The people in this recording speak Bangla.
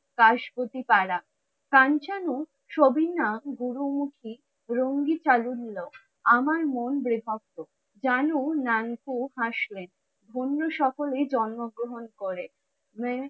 কাশমতি কারা? কাঞ্চনু সাবিনা গুরুমুখী আমার মন হাসলেন অন্য সকলে জন্মগ্রহন করে।